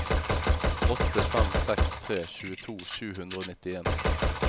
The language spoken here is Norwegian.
åtte fem seks tre tjueto sju hundre og nittien